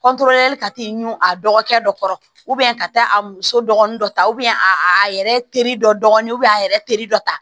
ka t'i ɲun a dɔgɔkɛ dɔ kɔrɔ ka taa a muso dɔgɔnin dɔ ta a yɛrɛ teri dɔ a yɛrɛ teri dɔ ta